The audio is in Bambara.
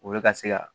Olu bɛ ka se ka